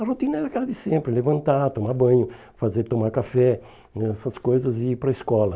A rotina era aquela de sempre, levantar, tomar banho, fazer tomar café né, essas coisas e ir para a escola.